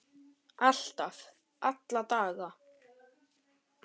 Alltaf, alla daga.